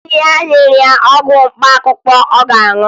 Nna ya nyere ya ọgwụ mkpaakwụkwọ ọ ga-aṅụ